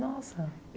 Nossa.